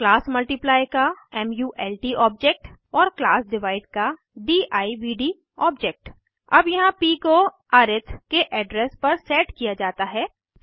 class multiply का mult object और class divide का दिव्द ऑब्जेक्ट अब यहाँ प को अरिथ के एड्रेस पर सेट किया जाता है